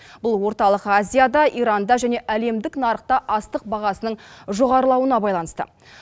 бұл орталық азияда иранда және әлемдік нарықта астық бағасының жоғарылауына байланысты